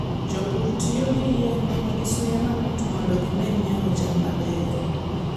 Jopur tiyo gi yien ma nigi suya mamit mondo gimed nyago cham mabeyo.